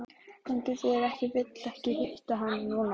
Hann getur ekki vill ekki hitta hana núna.